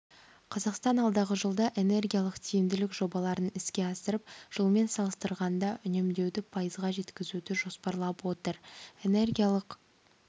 қазақстан алдағы жылда энергиялық тиімділік жобаларын іске асырып жылмен салыстырғанда үнемдеуді пайызға жеткізуді жоспарлап отыр энергиялық